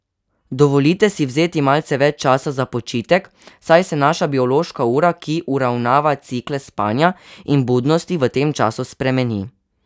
Dovolite si vzeti malce več časa za počitek, saj se naša biološka ura, ki uravnava cikle spanja in budnosti, v tem času spremeni.